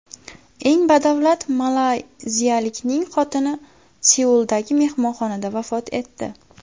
Eng badavlat malayziyalikning xotini Seuldagi mehmonxonada vafot etdi.